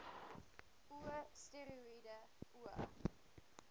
o steroïede o